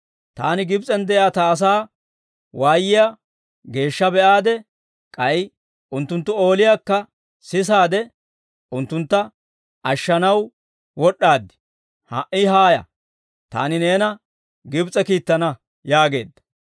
Taani Gibs'en de'iyaa Ta asaa waayiyaa geeshsha be'aade, k'ay unttunttu ooliyaakka sisaade, unttuntta ashshanaw wod'd'aad. Ha"i haaya. Taani neena Gibs'e kiittana› yaageedda.